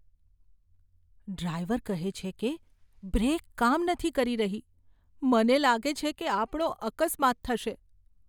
Driver કહે છે કે બ્રેક કામ નથી કરી રહી. મને લાગે છે કે આપણો અકસ્માત થશે.